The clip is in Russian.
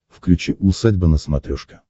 включи усадьба на смотрешке